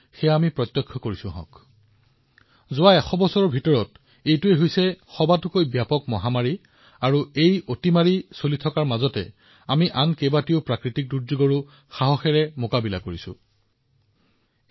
এইটো যোৱা এশ বছৰৰ ভিতৰত আটাইতকৈ ডাঙৰ মহামাৰী আৰু এই মহামাৰীৰ মাজত ভাৰতেও বহুতো প্ৰাকৃতিক দুৰ্যোগৰ সৈতে দৃঢ়তাৰে যুঁজিছে